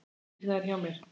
Birna er hjá mér.